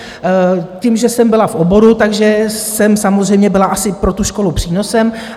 Tím, že jsem byla v oboru, tak jsem samozřejmě byla asi pro tu školu přínosem.